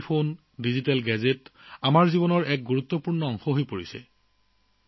mobile phone আৰু digital gadget আমাৰ জীৱনৰ এক গুৰুত্বপূৰ্ণ অংগ হৈ পৰিছে